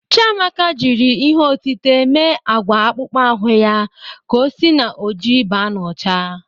Chiamaka jri ihe otite me agwa akpụkpọ ahụ ya ka o si na ojii ba n''ọcha.